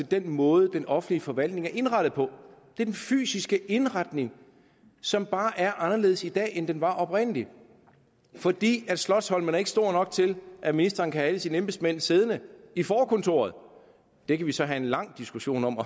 den måde den offentlige forvaltning er indrettet på det er den fysiske indretning som bare er anderledes i dag end den var oprindeligt fordi slotsholmen ikke er stor nok til at ministeren kan have alle sine embedsmænd siddende i forkontoret vi kan så have en lang diskussion om